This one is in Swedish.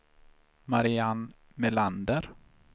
Marianne Melander